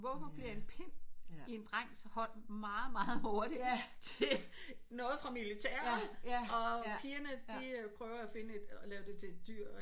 Hvorfor bliver en pind i en drengs hånd meget meget hurtigt til noget fra militæret og pigerne de prøver at finde de prøver at lave det til et dyr